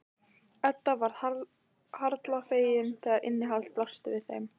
Edda varð harla fegin þegar innihaldið blasti við þeim.